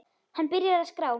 Hann byrjar að skrá.